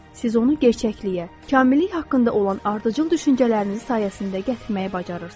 Siz onu gerçəkliyə, kamillik haqqında olan ardıcıl düşüncələriniz sayəsində gətirməyi bacarırsınız.